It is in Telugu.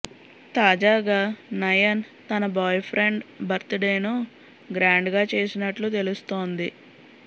తాజాగా నయన్ తన బాయ్ ఫ్రెండ్ బర్త్ డేను గ్రాండ్ గా చేసినట్లు తెలుస్తుంది